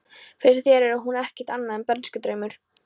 Fyrir þér er hún ekkert annað en bernskudraumur.